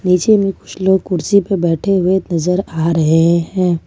नीचे में कुछ लोग कुर्सी पर बैठे हुए नजर आ रहे हैं।